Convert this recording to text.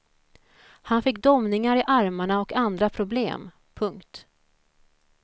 Han fick domningar i armarna och andra problem. punkt